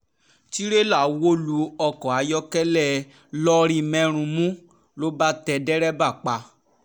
tìrẹ̀là wó lu ọkọ̀ ayọ́kẹ́lẹ́ lọ̀rímèrunmù ló bá tẹ̀ dèrèbà pa